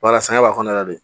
Walas'a sanɲɔ b'a kɔnɔna la de